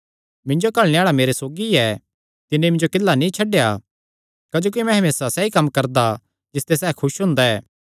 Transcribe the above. मिन्जो घल्लणे आल़ा मेरे सौगी ऐ तिन्नी मिन्जो किल्ला नीं छड्डेया क्जोकि मैं हमेसा सैई कम्म करदा जिसते सैह़ खुस हुंदा ऐ